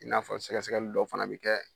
I n'a fɔ sɛgɛsɛgɛli dɔw fana bi kɛ